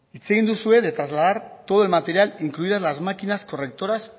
hitz egin duzue de trasladar todo el material incluidas las máquinas correctoras